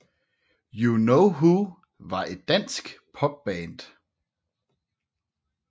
You Know Who var et dansk popband